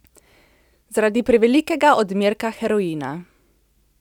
Zaradi prevelikega odmerka heroina.